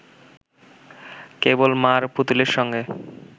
কেবল মা’র পুতুলের সঙ্গে